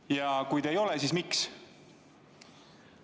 Ja kui ei ole, siis miks?